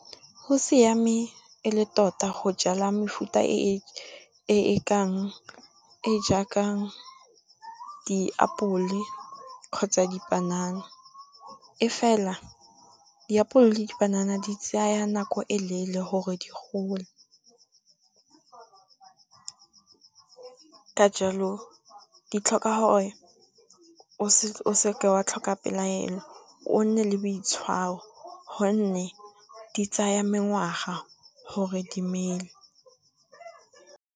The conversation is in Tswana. Gosiame e le tota go jala mefuta e jaaka diapole kgotsa dipanana, e fela diapole le dipanana di tsaya nako e leele gore di gole. Ka jalo di tlhoka gore o se ke wa tlhoka pelaelo o nne le boitshwaro gonne, di tsaya mengwaga gore di mele.